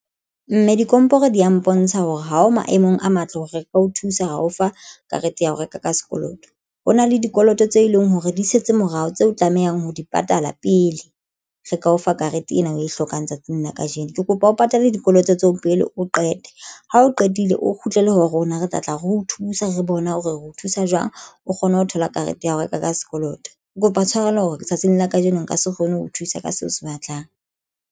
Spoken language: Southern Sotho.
Mme dikomporo di ya mpontsha hore ha o maemong a matle hore re ka o thusa ho o fa karete ya ho reka ka sekoloto. Ho na le dikoloto tse leng hore di setse morao tseo o tlamehang ho di patala pele re ka o fa karete ena o e hlokang. Tsatsing la kajeno kene ke kopa, o patale dikoloto tseo pele o qete ha o qetile o kgutlele ho rona. Re tlatla re o thusa re bona hore re thusa jwang o kgone ho thola karete ya ho reka ka sekoloto. Ke kopa tshwarelo hore tsatsing la kajeno nka se kgone ho thusa ka seo se batlang.